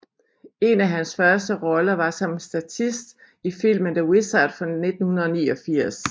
En af hans første roller var som en statist i filmen The Wizard fra 1989